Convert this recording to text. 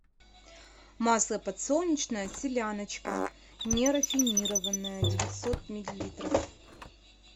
масло подсолнечное селяночка нерафинированное девятьсот миллилитров